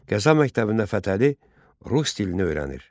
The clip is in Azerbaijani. Qəza məktəbində Fətəli rus dilini öyrənir.